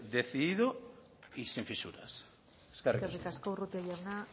decidido y sin fisuras eskerrik asko eskerrik asko urrutia jauna